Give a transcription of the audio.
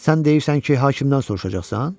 Sən deyirsən ki, hakimdən soruşacaqsan?